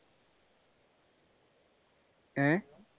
ഏർ